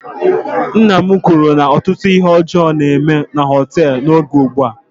Nna m kwuru na ọtụtụ ihe ọjọọ na-eme na họteelụ n'oge ugbua